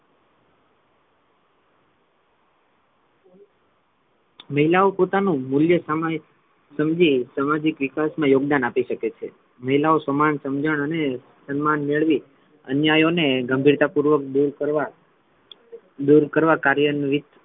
મહિલાઓ પોતાનુ મૂલ્ય સમજી સામાજિક વિકાસ મા યોગદાન આપી શકે છે મહિલાઓ સમાન સમજણ અને સન્માન મેળવી અન્યાયો ને ગંભીરતા પૂર્વક દૂર કરવા દૂર કરવા કાર્યરહિત,